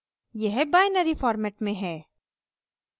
यह binary format में है